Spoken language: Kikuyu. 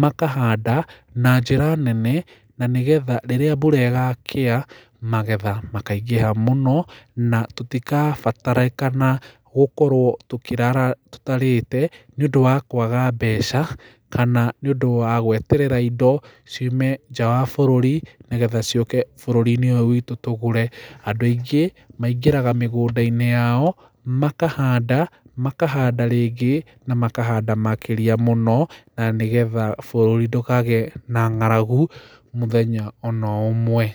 makahanda na njĩra nene na nĩgetha rĩrĩa mbura ĩgakĩa magetha makaingĩha mũno na tũtigabatarikana gũkorwo tũkĩrara tũtarĩte nĩ ũndũ wa kwaga mbeca kana nĩ ũndũ wa gweterera indo ciume njaa wa bũrũri nĩgetha ciũke bũrũri-inĩ ũyũ witũ tugũre andũ aingĩ maingĩraga mĩgũnda-inĩ yao makahanda , makahanda rĩngĩ na makahanda makĩrĩa mũno na nĩgetha bũrũri ndũkagĩe na ng'aragu mũthenya ona ũmwe.